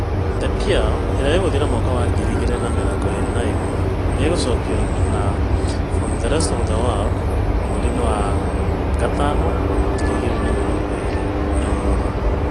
The Pearl ' ĩrĩa ĩgũthira mwaka wa ngiri igĩrĩ na mĩrongo ĩrĩ na ĩmwe nĩ ĩgaacokio na 'From the rest of The World ' mweri-inĩ wa May ngiri igĩrĩ na mĩrongo ĩrĩ na igĩrĩ.